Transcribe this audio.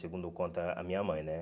Segundo conta a minha mãe, né?